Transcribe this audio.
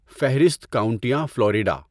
فہرست کاونٹیاں فلوریڈا